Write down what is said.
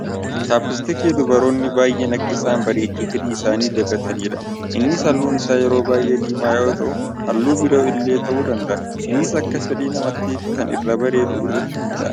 Chaapistikii dubaroonni baay'een akka isaan bareechuuf hidhii isaanii dibatanidha. Innis haalluun isaa yeroo baay'ee diimaa yoo ta'u haalluu biroo illee ta'uu danda'a innis akka fedhii namaattifi kan irraa bareedu irratti hundaa'a.